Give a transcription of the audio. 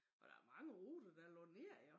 Og der mange ruter der lukket ned jo